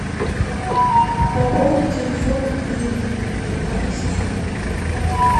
пополни телефон людмилы моей сестры